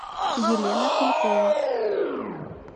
елена кулькова